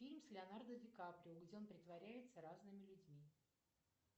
фильм с леонардо ди каприо где он притворяется разными людьми